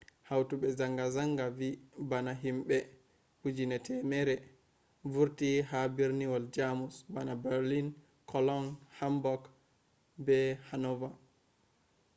hautobe zanga-zanga vi bana himbe 100,000 vurti ha birniwol jamus bana berlin cologne hamburg be hannover